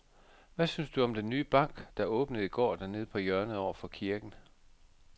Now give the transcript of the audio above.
Hvad synes du om den nye bank, der åbnede i går dernede på hjørnet over for kirken?